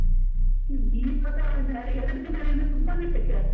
ಇವಾಗ ಎರಡು ದಿನದಿಂದ ತುಂಬಾನೇ ಶೆಕೆ ಆಗ್ತಾ ಇದೆ ಒಂದೇ ಸರ್ತಿ.